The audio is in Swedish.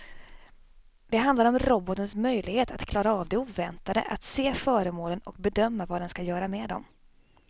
Det handlar om robotens möjlighet att klara av det oväntade, att se föremålen och bedöma vad den ska göra med dem.